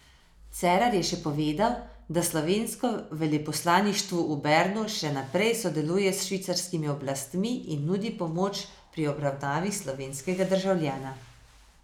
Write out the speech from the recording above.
Cerar je še povedal, da slovensko veleposlaništvu v Bernu še naprej sodeluje s švicarskimi oblastmi in nudi pomoč pri obravnavi slovenskega državljana.